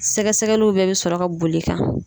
Sɛgɛsɛgɛliw bɛɛ bɛ sɔrɔ ka bol'i kan.